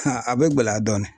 a bɛ gɛlɛya dɔɔnin